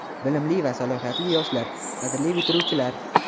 Bilimli va salohiyatli yoshlar, qadrli bitiruvchilar!.